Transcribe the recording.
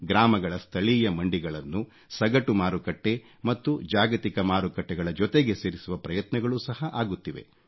ಗ್ರಾಮಗಳ ಸ್ಥಳೀಯ ಮಂಡಿಗಳನ್ನು ಸಗಟು ಮಾರುಕಟ್ಟೆ ಮತ್ತು ಜಾಗತಿಕ ಮಾರುಕಟ್ಟೆಗಳ ಜೊತೆಗೆ ಸೇರಿಸುವ ಪ್ರಯತ್ನಗಳು ಸಹ ಆಗುತ್ತಿದೆ